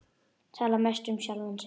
Tala mest um sjálfan sig.